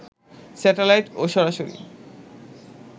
satellite ও সরাসরি